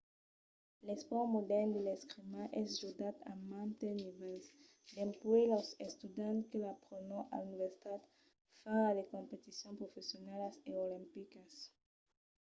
l'espòrt modèrn de l'escrima es jogat a mantes nivèls dempuèi los estudiants que l'aprenon a l'universitat fins a de competicions professionalas e olimpicas